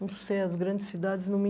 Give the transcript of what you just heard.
Não sei, as grandes cidades não me...